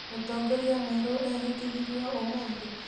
Mũtongoria mwerũ ehĩtithirio ũmũthĩ?